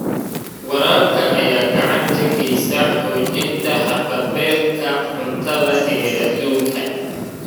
Waraabka ayaa gacan ka geysta xoojinta haqab-beelka cuntada ee adduunka.